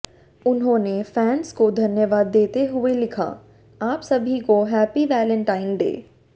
उन्होंने फैंस को धन्यवाद देते हुए लिखा आप सभी को हैप्पी वैलेंटाइन डे